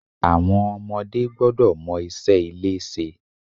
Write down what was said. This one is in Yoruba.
Àwọn ọmọdé gbọ́dọ̀ mọ iṣẹ́ ilé ṣe.